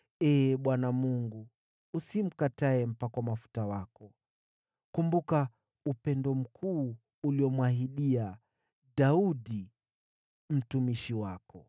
Ee Bwana Mungu, usimkatae mpakwa mafuta wako. Kumbuka upendo mkuu uliomwahidia Daudi mtumishi wako.”